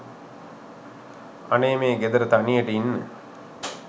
අනේ මේ ගෙදර තනියට ඉන්න